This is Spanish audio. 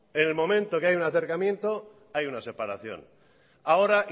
en el que hay un acercamiento hay una separación ahora